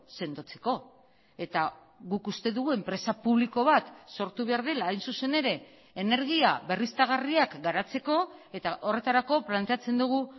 sendotzeko eta guk uste dugu enpresa publiko bat sortu behar dela hain zuzen ere energia berriztagarriak garatzeko eta horretarako planteatzen dugu